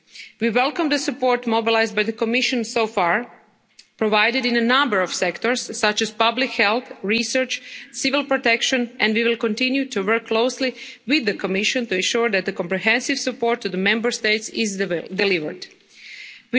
We welcome the support mobilised by the Commission so far, provided in a number of sectors such as public health, research and civil protection, and we will continue to work closely with the Commission to ensure that comprehensive support is delivered to the Member